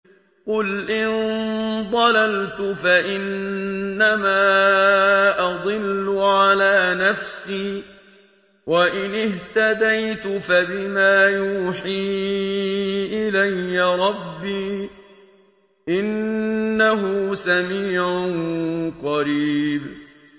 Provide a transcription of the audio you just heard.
قُلْ إِن ضَلَلْتُ فَإِنَّمَا أَضِلُّ عَلَىٰ نَفْسِي ۖ وَإِنِ اهْتَدَيْتُ فَبِمَا يُوحِي إِلَيَّ رَبِّي ۚ إِنَّهُ سَمِيعٌ قَرِيبٌ